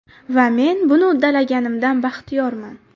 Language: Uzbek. Va men buni uddalaganimdan baxtiyorman.